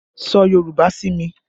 Sọ Yorùbá sí mi!